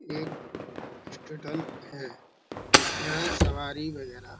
यह रेस्टोरेंट है। यहाँ सवारी वगैरह--